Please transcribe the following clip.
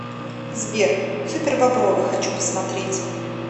сбер супербобровы хочу посмотреть